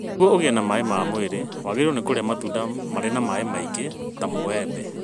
Nĩguo ũgĩe na maĩ ma mwĩrĩ wagĩrĩirũo kũrĩa matunda marĩ na maĩ maingĩ, ta mũbembe.